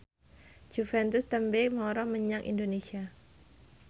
Juventus tembe mara menyang Indonesia